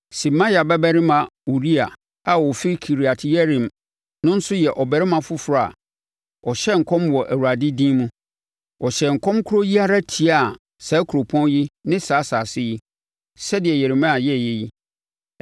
(Semaia babarima Uria a ɔfiri Kiriat-Yearim no nso yɛ ɔbarima foforɔ a ɔhyɛɛ nkɔm wɔ Awurade din mu; ɔhyɛɛ nkɔm korɔ yi ara tiaa saa kuropɔn yi ne saa asase yi, sɛdeɛ Yeremia yɛeɛ no.